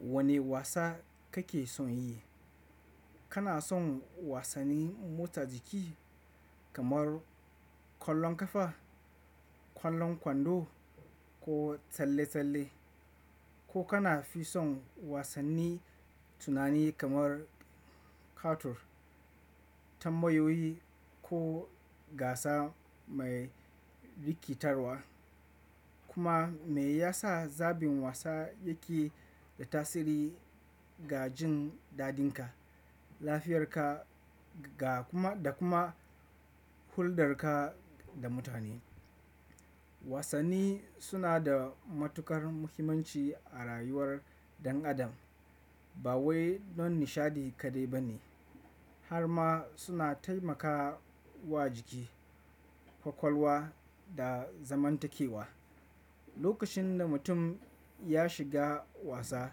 Wane wasa kake son yi? Kana son wasanni mota jiki kamar kwallon kafa, kwallon kwando ko tsalle-tsalle? Ko kana fi son wasanni tunani kamar katun, tambayoyi ko gasa mai rikitarwa? Kuma me yasa zabin wasa yake da tasiri ga jin dadinka, lafiyarka da kuma huldarka da mutane? Wasanni suna da matukar muhimmanci a rayuwar ɗan adam. Ba wai don nishadi kaɗai ba ne, har ma suna taimakawa jiki, kwakwalwa da zamantakewa. Lokacin da mutum ya shiga wasa,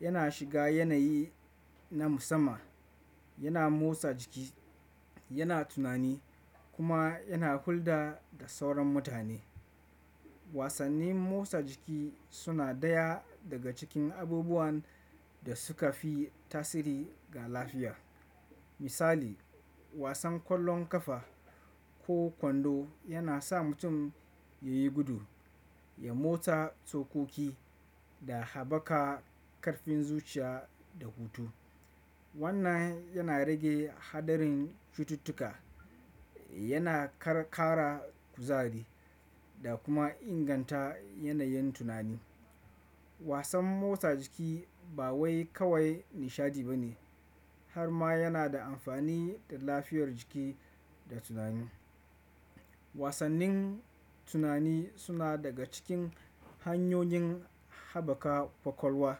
yana shiga yanayi na musamman, yana motsa jiki, yana tunani kuma yana hulɗa da sauran mutane. Wasannin motsa jiki suna daya daga cikin abubuwan da suka fi tasiri ga lafiya. Misali, wasan kwallon kafa ko kwando yana sa mutum ya yi gudu, ya motsa tsokoki da haɓaka ƙarfin zuciya da hutu. Wannan yana rage haɗarin cututtuka, yana ƙara kuzari da kuma inganta yanayin tunani. Wasan motsa jiki ba wai kawai nishadi ba ne, har ma yana da amfani ga lafiyar jiki da tunani. Wasannin tunani suna daga cikin hanyoyin haɓaka kwakwalwa.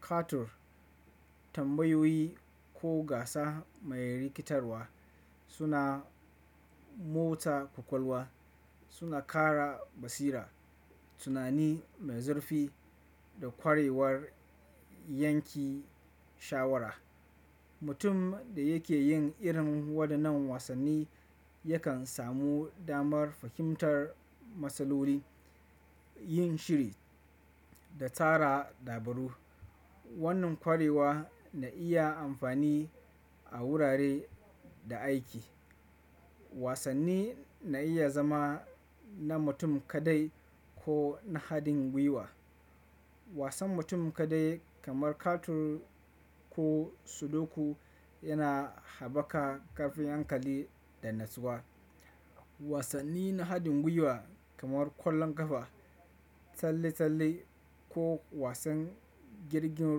Katun, tambayoyi ko gasa mai rikitarwa suna motsa kwakwalwa, suna ƙara basira, tunani mai zurfi da kwarewar yanki shawara. Mutum da yake yin irin waɗannan wasanni yakan samu damar fahimtar matsaloli, yin shiri da tara dabaru. Wannan ƙwarewa na iya amfani a wurare da aiki. Wasanni na iya zama na mutum kaɗai ko na haɗin gwiwa. Wasan mutum kaɗai kamar katun ko sudoku yana haɓaka ƙarfin hankali da natsuwa. Wasanni na haɗin gwiwa kamar kwallon kafa, talle-talle ko wasan jirgin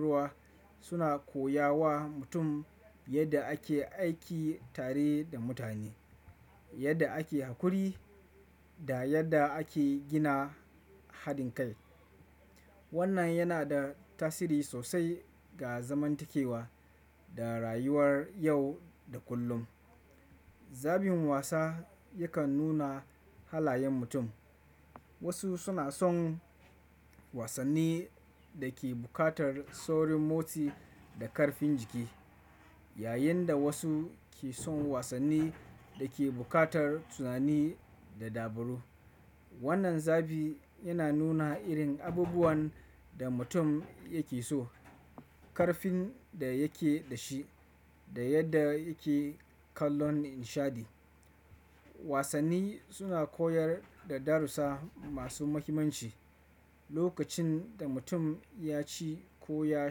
ruwa suna koya wa mutum yadda ake aiki tare da mutane, yadda ake haƙuri da yadda ake gina haɗin kai. Wannan yana da tasiri sosai ga zamantakewa da rayuwar yau da kullum. Zabin wasa yakan nuna halayen mutum. Wasu suna son wasanni da ke buƙatar saurin motsi da ƙarfin jiki, yayin da wasu ke son wasanni da ke buƙatar tunani da dabaru. Wannan zabi yana nuna irin abubuwan da mutum yake so, ƙarfin da yake da shi da yadda yake kallon nishadi. Wasanni suna koyar da darussa masu muhimmanci. Lokacin da mutum ya ci ko ya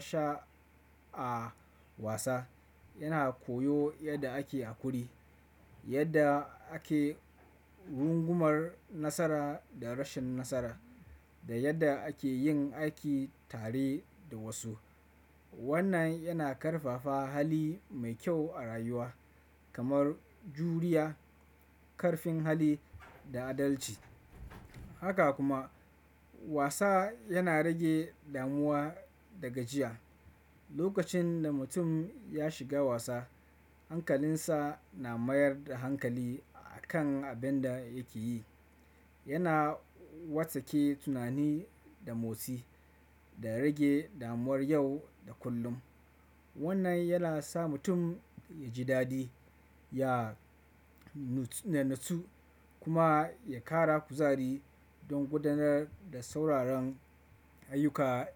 sha a wasa, yana koyo yadda ake haƙuri, yadda ake rungumar nasara da rashin nasara da yadda ake yin aiki tare da wasu. Wannan yana ƙarfafa hali mai kyau a rayuwa kamar juriya, ƙarfin hali da adalci. Haka kuma wasa yana rage damuwa da gajiya. Lokacin da mutum ya shiga wasa, hankalinsa na mayar da hankali a kan abin da yake yi. Yana watsake tunani da motsi da rage damuwar yau da kullum. Wannan yana sa mutum ya ji dadi, ya natsu kuma ya ƙara kuzari don gudanar da sauraron ayyuka da kyau.